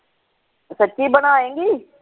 ਸਚੀ ਬਣਾਏਗੀ।